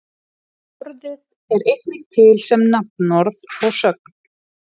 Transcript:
Orðið er einnig til sem nafnorð og sögn.